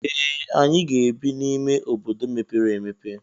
Ee! Anyị ga-ebi n'ime obodo mepere emepe.